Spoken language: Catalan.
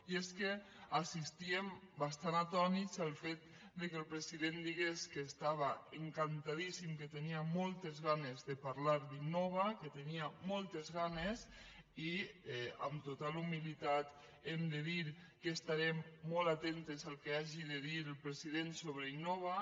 i és que assistíem bastant atònits al fet que el president digués que estava encantadíssim que tenia moltes ganes de parlar d’innova que en tenia moltes ganes i amb total humilitat hem de dir que estarem molt atentes al que hagi de dir el president sobre innova